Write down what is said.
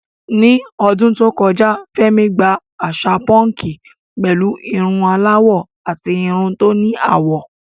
Ní ọdún tó kọjá, Fẹ́mi gba àṣà púnkì pẹ̀lú irun aláwọ̀ àti irun tí ó ní àwọ̀.